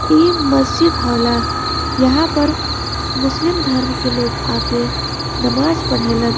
इ मस्जिद होला। यहाँ पर मुस्लिम धर्म के लोग आके नामाज़ पढ़ेलन।